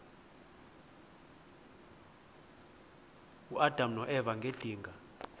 uadam noeva ngedinga